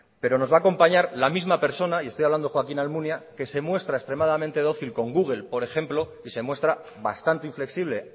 pero nos va acompañar la misma persona y estoy hablando de joaquín almunia que se muestra extremadamente dócil con google por ejemplo y se muestra bastante inflexible